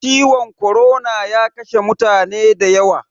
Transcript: Ciwon korona ya kashe mutane da yawa